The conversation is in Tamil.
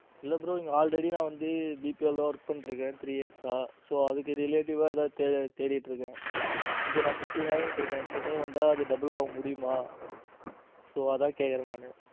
இல்ல bro இங்க already நா வந்து PPL ல work பண்ணிட்டு இருக்கேன். three years so அதுக்கு related ஏதாவது தேடிட்டு இருக்கேன். இங்க நான் fifteen வாங்கிட்டு இருக்கேன் சென்னை வந்தா அது double ஆக முடியுமா so அதான் கேட்கிறேன் நானு.